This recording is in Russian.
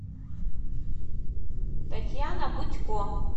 татьяна будько